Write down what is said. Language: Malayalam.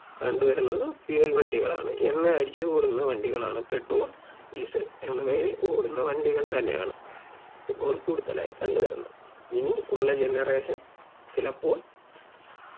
കണ്ട് വരുന്നത് fuel വണ്ടികളാണ് എണ്ണ അടിച്ച് ഓടുന്ന വണ്ടികളാണ് petrol diesel എന്നിവയിൽ ഓടുന്ന വണ്ടികൾ തന്നെയാണ് ഇപ്പോൾ കൂടുതലായും കണ്ട് വരുന്നത് ഇനി ഉള്ള Generation ചിലപ്പോൾ